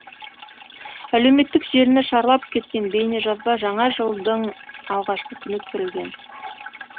әлеуметтік желіні шарлап кеткен бейнежазба жаңа жылдың алғашқы күні түсірілген